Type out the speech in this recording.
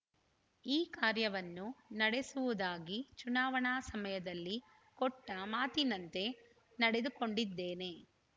ಈ ಕಾರ್ಯವನ್ನು ನಡೆಸುವುದಾಗಿ ಚುನಾವಣಾ ಸಮಯದಲ್ಲಿ ಕೊಟ್ಟ ಮಾತಿನಂತೆ ನಡೆದುಕೊಂಡಿದ್ದೇನೆ